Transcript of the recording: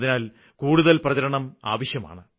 അതിനാല് കൂടുതല് പ്രചരണം ആവശ്യമാണ്